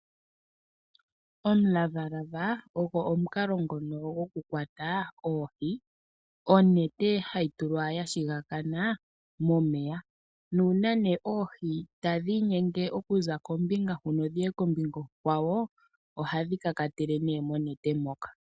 Omulavalava ogo omukalo ngono gokukwata oohi, onete ohayi tulwa ya shigakana momeya nuuna ne noohi tadhi inyenge okuza kombinga ndjika dhuuka kombinga onkawo ohadhi ka ka tele monete moka.